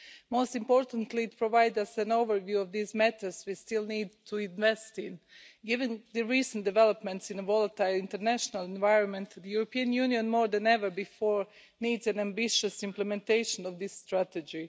Most importantly, it provides us with an overview of these matters we still need to invest in. Given the recent developments in the volatile international environment, the European Union, more than ever before, needs an ambitious implementation of this strategy.